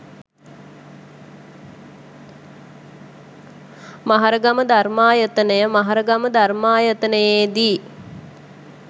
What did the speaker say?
මහරගම ධර්මායතනය මහරගම ධර්මායතනයේ දී